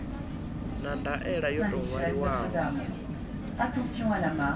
na ndaela yo tou ṅwaliwaho